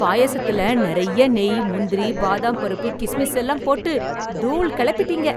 பாயசத்துல நெறைய்ய நெய், முந்திரி பாதாம் பருப்பு, கிஸ்மிஸ் எல்லாம் போட்டு தூள் கெளப்பிட்டீங்க.